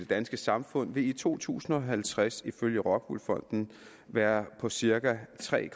danske samfund vil i to tusind og halvtreds ifølge rockwool fonden være på cirka tre